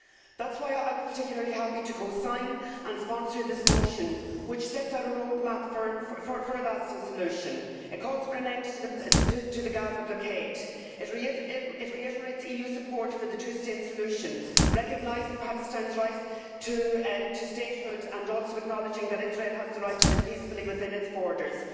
That is why I was particularly happy to co sign and sponsor this motion, which sets out a roadmap for a lasting solution. It calls for an end to the Gaza blockade, and it reiterates EU support for the two state solution, recognising Palestine's right to statehood and also acknowledging that Israel has the right to live peacefully within its borders.